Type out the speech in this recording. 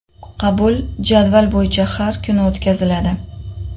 Qabul jadval bo‘yicha har kuni o‘tkaziladi.